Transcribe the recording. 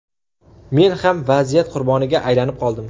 Men ham vaziyat qurboniga aylanib qoldim.